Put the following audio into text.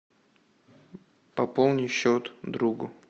пополни счет другу